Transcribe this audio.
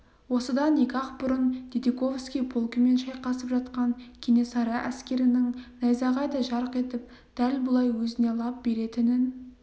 осыдан екі-ақ күн бұрын дидиковский полкімен шайқасып жатқан кенесары әскерінің найзағайдай жарқ етіп дәл бұлай өзіне лап беретінін